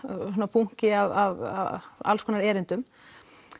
bunki af alls konar erindum